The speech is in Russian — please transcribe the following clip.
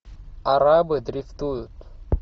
арабы дрифтуют